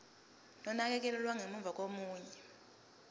nonakekelo lwangemuva kokuya